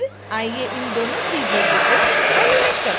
फिर आइए इन दोनों त्रिभुजों को एनीमेट करते हैं